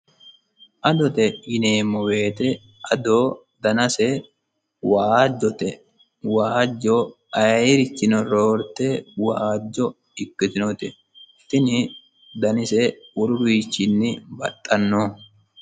adote yineemmo wote ado danase waajjote waajjo ayeerichinnino roorte waajjo ikkitinoti tini danise woluwiichinni baxxanno.